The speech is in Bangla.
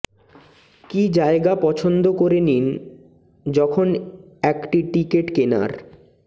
কি জায়গা পছন্দ করে নিন যখন একটি টিকেট কেনার